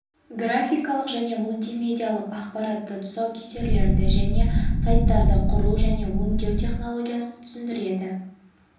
графикалық және мультимедиалық ақпаратты тұсаукесерлерді және сайттарды құру және өңдеу технологиясын түсіндіреді